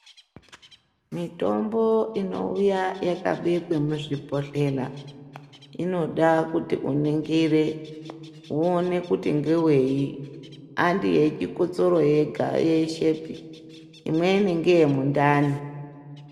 Mitombo inouya yakabekwe muzvibhohlera inoda kuti uningire, woone kuti ngewei, handi yechikotsoro yeshepi, imweni ngeye mundani.